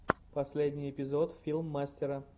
последний эпизод филмстера